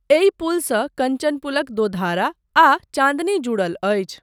एहि पुलसँ कञ्चनपुलक दोधारा आ चाँदनी जुड़ल अछी।